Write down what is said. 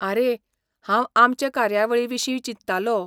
आरे, हांव आमचे कार्यावळीविशीं चिंततालो.